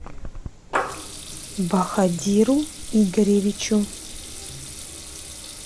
баходиру игоревичу